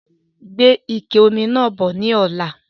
Gbe ike omi náà bọ̀ ni ọ̀la!